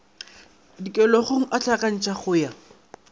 dikholegong a hlakantšhwa go ya